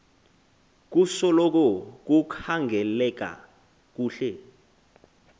kusoloko kukhangeleka kuhle